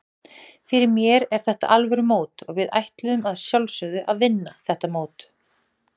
Fyrir mér er þetta alvöru mót og við ætluðum að sjálfsögðu að vinna þetta mót.